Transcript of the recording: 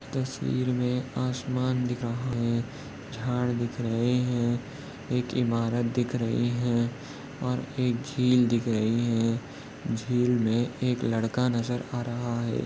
तस्वीर में आसमान दिख रहा है झाड़ दिख रहे है एक इमारत दिख रही है और एक जील दिख रही है जील मे एक लड़का नजर आ रहा है।